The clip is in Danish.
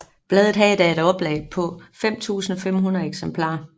Bladet havde da et oplag på 5500 eksemplarer